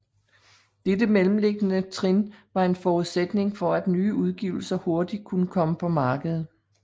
Dette mellemliggende trin var en forudsætning for at nye udgivelser hurtigt kunne komme på markedet